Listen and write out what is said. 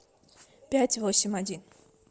пять восемь один